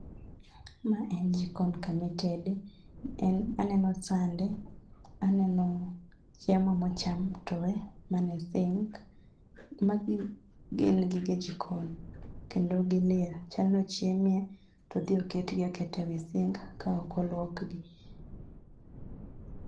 Ma en jikon kama itede. En aneno sande, aneno chiemo mocham towe ma nie sink. Magi gin gige jikon kendo gilil. Chal ni ochiemie, todhi oketgi aketa e wi sink ka ok oluokgi.